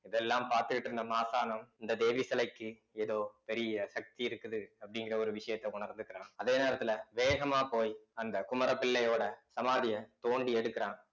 இதெல்லாம் பார்த்துக்கிட்டு இருந்த மாசானம் இந்த தேவி சிலைக்கு ஏதோ பெரிய சக்தி இருக்குது அப்படிங்கிற ஒரு விஷயத்த உணர்ந்துக்கறான் அதே நேரத்துல வேகமா போய் அந்த குமரபிள்ளையோட சமாதிய தோண்டி எடுக்கிறான்